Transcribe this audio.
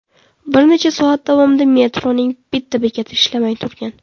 Bir necha soat davomida metroning bitta bekati ishlamay turgan.